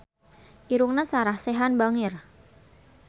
Irungna Sarah Sechan bangir